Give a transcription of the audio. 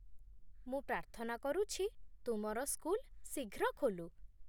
ମୁଁ ପ୍ରାର୍ଥନା କରୁଛି ତୁମର ସ୍କୁଲ ଶୀଘ୍ର ଖୋଲୁ।